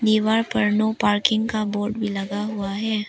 दीवार पर no parking का बोर्ड भी लगा हुआ है।